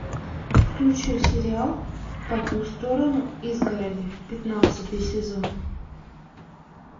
включи сериал по ту сторону изгороди пятнадцатый сезон